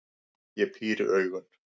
Ég píri augun.